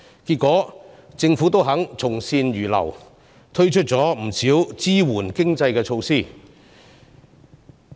結果，政府願意從善如流，推出不少支援經濟的措施。